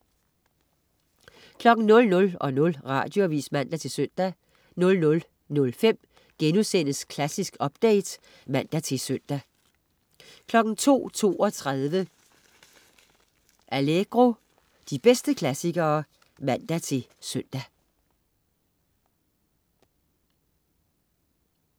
00.00 Radioavis (man-søn) 00.05 Klassisk update* (man-søn) 02.32 Allegro. De bedste klassikere (man-søn) 02.32 Allegro. De bedste klassikere (man-søn)